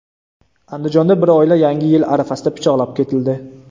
Andijonda bir oila Yangi yil arafasida pichoqlab ketildi.